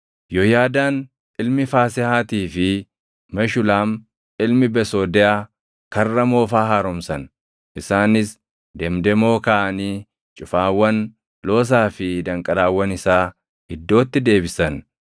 Yooyaadaan ilmi Faasehaatii fi Meshulaam ilmi Besoodeyaa Karra Moofaa haaromsan. Isaanis demdemoo kaaʼanii cufaawwan, loosaa fi danqaraawwan isaa iddootti deebisan.